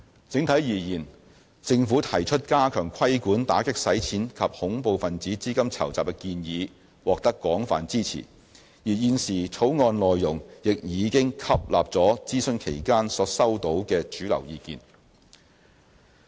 整體而言，政府提出加強規管打擊洗錢及恐怖分子資金籌集的建議獲得廣泛支持，而現時的《條例草案》內容亦已經吸納了諮詢期間所收到的主流意見。